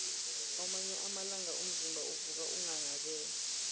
kwamanye amalanga umzimba uvuka unghanghabele